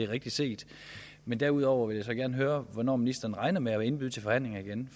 rigtigt set men derudover vil jeg gerne høre hvornår ministeren regner med at indbyde til forhandlinger igen